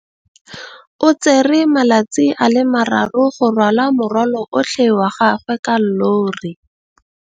O tsere malatsi a le marraro go rwala morwalo otlhe wa gagwe ka llori.